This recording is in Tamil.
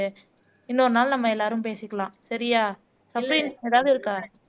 இன்னொரு நாள் நம்ம எல்லாரும் பேசிக்கலாம் சரியா சஃப்ரின் ஏதாவது இருக்கா